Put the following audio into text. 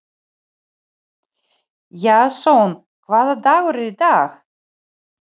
Jason, hvaða dagur er í dag?